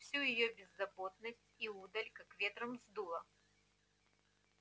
всю её беззаботность и удаль как ветром сдуло